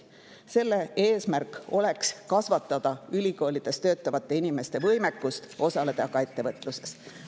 Selle eesmärk oleks kasvatada ülikoolides töötavate inimeste võimekust osaleda ka ettevõtluses.